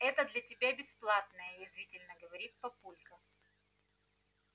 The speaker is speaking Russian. это для тебя бесплатное язвительно говорит папулька